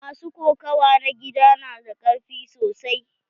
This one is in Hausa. Masu kokawa na gida na da karfi sosai.